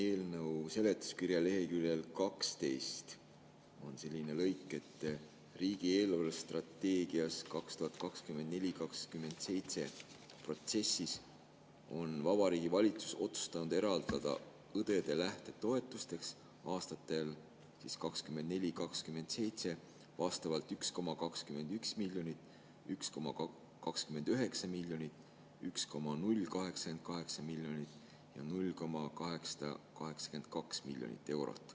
Eelnõu seletuskirja leheküljel 12 on selline lause: "RES 2024-2027 protsessis on Vabariigi Valitsus otsustanud eraldada õdede lähtetoetuseks aastatel 2024-2027 vastavalt 1,21 mln, 1,29 mln, 1,088 mln ja 0,882 mln eurot.